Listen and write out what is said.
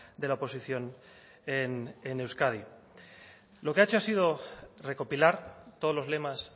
de la oposición en euskadi lo que ha hecho ha sido recopilar todos los lemas